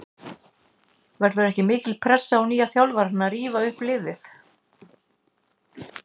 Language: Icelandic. Verður ekki mikil pressa á nýjum þjálfara að rífa liðið upp?